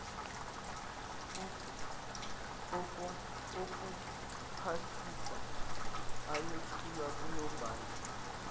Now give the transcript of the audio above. okuphasisa ayothulwa kunobhala